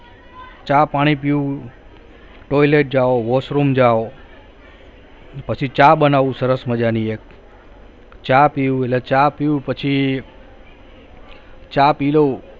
ચા પાણી પીવું toilet જવ washroom જવ પછી ચા બનાવું સરસ મજાની એક ચા પીવું એટલે ચા પીવું પછી ચા પી લવ